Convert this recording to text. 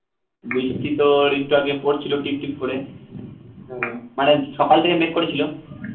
বৃষ্টি তোর একটু আগে পড়ছিলো টিপটিপ করে মানে সকাল থেকে মেঘ করেছিল